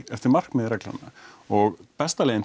eftir markmiðum reglanna og besta leiðin